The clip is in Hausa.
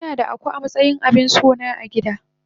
Ah ah inada Akuu amatsayin abinsona agida.